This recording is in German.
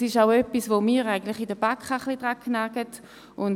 Daran hatten wir auch in der BaK zu kauen.